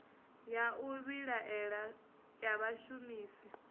ya u vhilaela ya vhashumisi